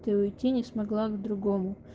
ты уйти не смогла к другому